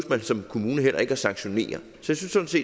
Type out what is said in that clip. man som kommune heller ikke at sanktionere så